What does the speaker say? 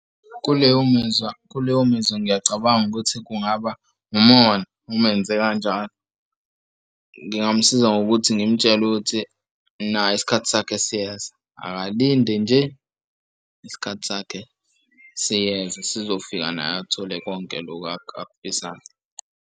Kuleyo mizwa kuleyo mizwa ngiyacabanga ukuthi kungaba umona uma enze kanjalo ngingamusiza ngokuthi ngimtshele ukuthi naye isikhathi sakhe siyeza, akalinde nje isikhathi sakhe siyeza sizofika naye athole konke loku akufisayo.